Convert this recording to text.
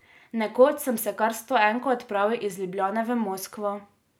Nekoč sem se kar s stoenko odpravil iz Ljubljane v Moskvo.